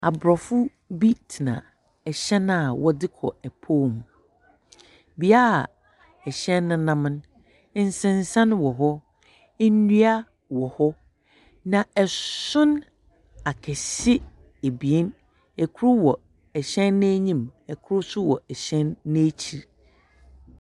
Aborɔfo bi tsena hɛn a wɔdze kɔ pɔw mu, bea a hɛn no nam no, nsensan wɔ hɔ, ndua wɔ hɔ, na son akɛse ebien, kor wɔ hɛn n’enyim, kor so wɔ n’ekyir.